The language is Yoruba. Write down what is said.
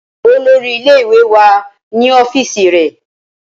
Olórí ilé ìwé wá ní ọ́fíìsì rè